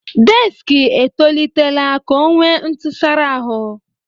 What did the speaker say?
Dekisi etolitela ka ọ nwee ntụsara ahụ.